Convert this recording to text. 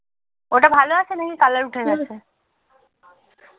ওটা ভালো আছে নাকি colour উঠে গেছে